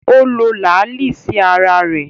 Ó lo làálí sí ara rẹ̀